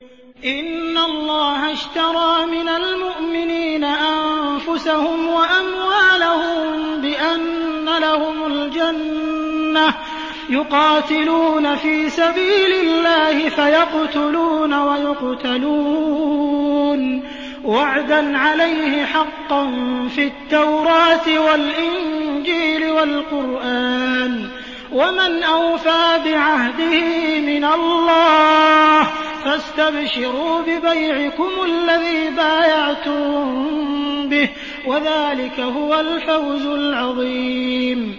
۞ إِنَّ اللَّهَ اشْتَرَىٰ مِنَ الْمُؤْمِنِينَ أَنفُسَهُمْ وَأَمْوَالَهُم بِأَنَّ لَهُمُ الْجَنَّةَ ۚ يُقَاتِلُونَ فِي سَبِيلِ اللَّهِ فَيَقْتُلُونَ وَيُقْتَلُونَ ۖ وَعْدًا عَلَيْهِ حَقًّا فِي التَّوْرَاةِ وَالْإِنجِيلِ وَالْقُرْآنِ ۚ وَمَنْ أَوْفَىٰ بِعَهْدِهِ مِنَ اللَّهِ ۚ فَاسْتَبْشِرُوا بِبَيْعِكُمُ الَّذِي بَايَعْتُم بِهِ ۚ وَذَٰلِكَ هُوَ الْفَوْزُ الْعَظِيمُ